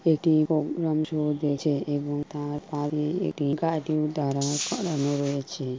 এটি এবং তার পারে এটি গাড়ি দাঁড়ানো করানো রয়েছে।